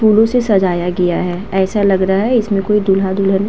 फूलो से सजाया गया है। ऐसा लग रहा है। इसमें कोई दूल्हा दुल्हन --